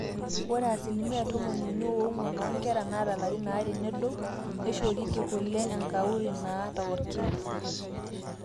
ore asilimia tomoniuni oong'wan oonkera naata ilarin aare nedou neishorieki kule enkauri naata orkina